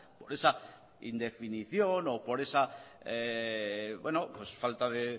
por esa indefinición o por esa falta de